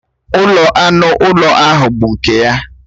Ụlọ anụ ụlọ ahụ bụ nke ya